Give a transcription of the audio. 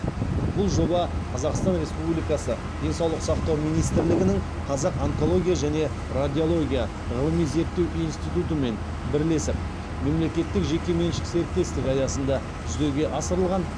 бұл жоба қазақстан республикасы денсаулық сақтау министрлігінің қазақ онкология және радиология ғылыми зерттеу институтымен бірлесіп мемлекеттік жеке меншік серіктестік аясында жүзеге асырылған